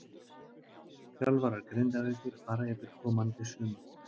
Þjálfarar Grindavíkur fara yfir komandi sumar.